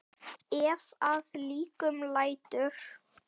Ef að líkum lætur.